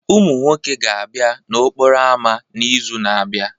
Ụmụ nwoke ga-abịa n'okporo ámá n'izu na-abịa